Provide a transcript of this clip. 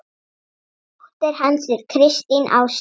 Dóttir hans er Kristín Áslaug.